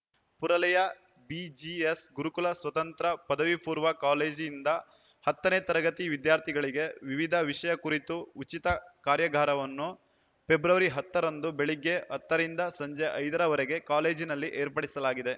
ಪುರಲೆಯ BGS ಗುರುಕುಲ ಸ್ವತಂತ್ರ ಪಪೂ ಕಾಲೇಜು ಯಿಂದ ಹತ್ತ ನೇ ತರಗತಿ ವಿದ್ಯಾರ್ಥಿಗಳಿಗೆ ವಿವಿಧ ವಿಷಯ ಕುರಿತು ಉಚಿತ ಕಾರ್ಯಾಗಾರವನ್ನು ಫೆಬ್ರವರಿ ಹತ್ತ ರಂದು ಬೆಳಿಗ್ಗೆ ಹತ್ತು ರಿಂದ ಸಂಜೆ ಐದರ ವರೆಗೆ ಕಾಲೇಜಿನಲ್ಲಿ ಏರ್ಪಡಿಸಲಾಗಿದೆ